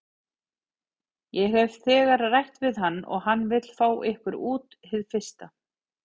Ég hef þegar rætt við hann og hann vill fá ykkur út hið fyrsta.